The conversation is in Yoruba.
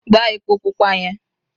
gba epo pupa yen